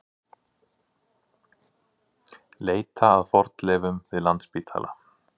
Leita að fornleifum við Landspítala